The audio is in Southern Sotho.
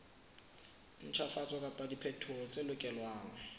ntjhafatso kapa diphetoho tse lokelwang